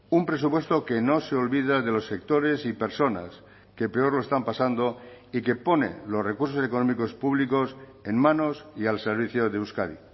un presupuesto que no se olvida de los sectores y personas que peor lo están pasando y que pone los recursos económicos públicos en manos y al servicio de euskadi